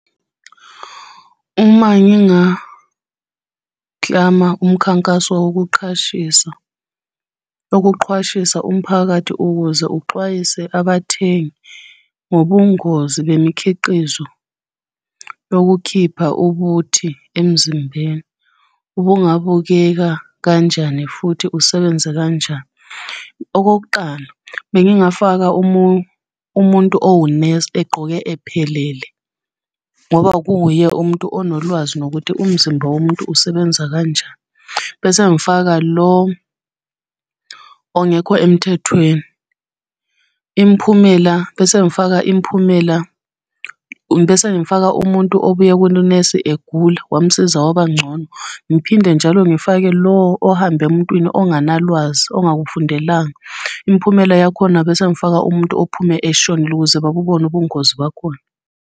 Uma ngingaklama umkhankaso wokuqhashisa, wokuqhwashisa umphakathi ukuze uxwayise abathengi ngobungozi bemikhiqizo yokukhipha ubuthi emzimbeni, ubungabukeka kanjani futhi usebenze kanjani. Okokuqala bengingafaka umuntu owunesi egqoke ephelele, ngoba kuwuye umuntu onolwazi nokuthi umzimba womuntu usebenza kanjani. Bese ngifaka lo ongekho emthethweni. Imiphumela, bese ngifaka imiphumela, bese ngifaka umuntu obuya kulo nesi egula wamsiza wabangcono. Ngiphinde njalo ngifake lo ohamba emuntwini onganalwazi ongakufundelanga, imiphumela yakhona bese ngifaka umuntu ophume eshonile ukuze babubone ubungozi bakhona.